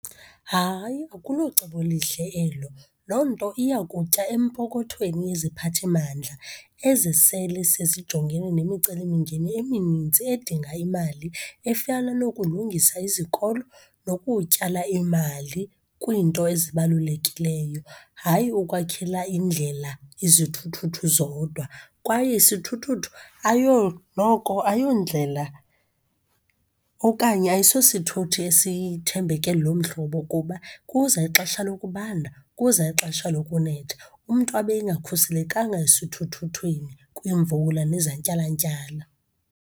Hayi, akulocebo lihle elo. Loo nto iyakutya empokothweni yeziphathimandla ezi sele sezijongene nemicelimngeni eminintsi edinga imali efana nokulungisa izikolo nokutyala imali kwinto ezibalulekileyo, hayi ukwakhela indlela izithuthuthu zodwa. Kwaye sithuthuthu noko ayondlela okanye ayisosithuthi esithembeke loo mhlobo kuba kuza ixesha lokubanda, kuza ixesha lokunetha umntu abe engakhuselekanga esithuthuthwini kwimvula nezantyalantyala.